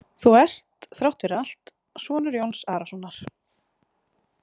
Þú ert þrátt fyrir allt sonur Jón Arasonar.